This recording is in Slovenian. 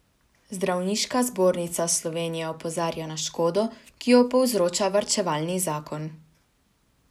Zdravniška zbornica Slovenije opozarja na škodo, ki jo povzroča varčevalni zakon.